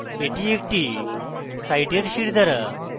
এটি একটি সাইটের শিরদাঁড়া